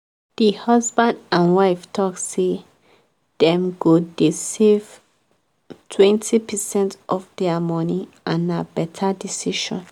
the husband and wife talk say dem go dey save 20 percent of their money and na better decision.